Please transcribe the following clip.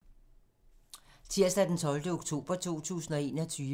Tirsdag d. 12. oktober 2021